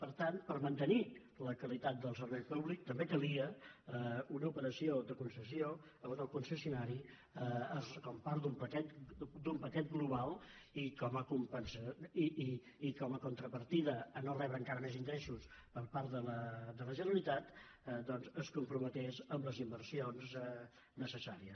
per tant per mantenir la qualitat del servei públic també calia una operació de concessió en què el concessionari com a part d’un paquet global i com a contrapartida a no re·bre encara més ingressos per part de la generalitat doncs es comprometés amb les inversions necessàries